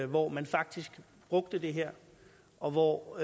hvor man faktisk brugte det her og hvor